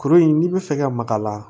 Kurun in n'i bɛ fɛ ka maka